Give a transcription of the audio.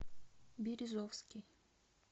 березовский